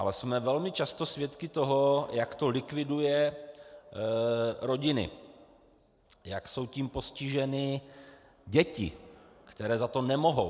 Ale jsme velmi často svědky toho, jak to likviduje rodiny, jak jsou tím postiženy děti, které za to nemohou.